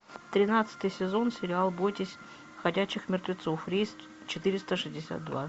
тринадцатый сезон сериал бойтесь ходячих мертвецов рейс четыреста шестьдесят два